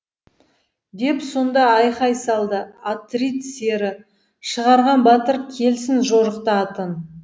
деп сонда айқай салды атрид сері шығарған батыр келсін жорықта атын